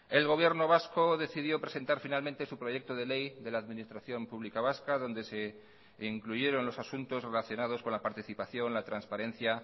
el gobierno vasco decidió presentar finalmente su proyecto de ley de la administración pública vasca donde se incluyeron los asuntos relacionados con la participación la transparencia